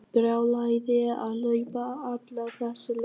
Brjálæði að hlaupa alla þessa leið.